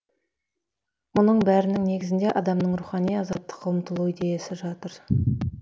мұның бәрінің негізінде адамның рухани азаттыққа ұмтылуы идеясы жатыр